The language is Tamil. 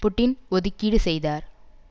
புட்டின் ஒதுக்கீடு செய்தார்